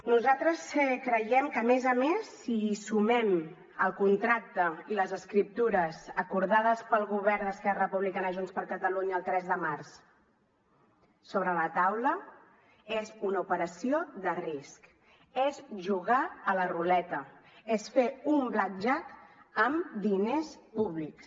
nosaltres creiem que a més a més si hi sumem el contracte i les escriptures acordades pel govern d’esquerra republicana junts per catalunya el tres de març sobre la taula és una operació de risc és jugar a la ruleta és fer un blackjack amb diners públics